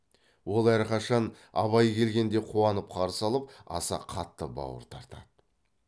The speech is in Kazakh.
ол әрқашан абай келгенде қуанып қарсы алып аса қатты бауыр тартады